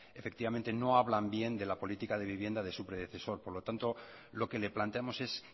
efectivamente no hablan bien de la políticas de vivienda de su predecesor por lo tanto lo que le planteamos es